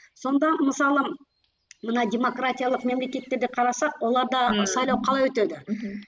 сонда мысалы мына демократиялық мемлекеттерде қарасақ оларда сайлау қалай өтеді мхм